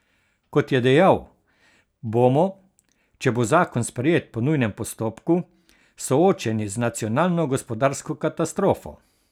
Kot je dejal, bomo, če bo zakon sprejet po nujnem postopku, soočeni z nacionalno gospodarsko katastrofo.